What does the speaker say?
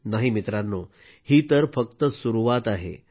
नाही मित्रांनोही तर फक्त सुरुवात आहे